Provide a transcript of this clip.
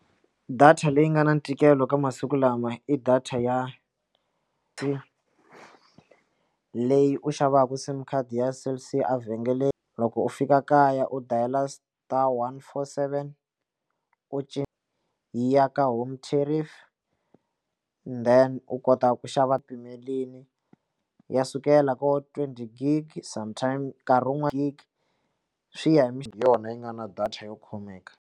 Data leyi nga na ntikelo ka masiku lama i data ya e leyi u xavaka sim card ya cell c a vhengele loko u fika kaya u dayile star one four seven u cinca yi ya ka home tariffs then u kota ku xava pfumeleli ya sukela ko twenty gig some time nkarhi wun'wani gig swi ya hi yona yi nga na data yo khomeka.